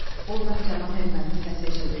Ordan cavan erməninin səsi eşidildi: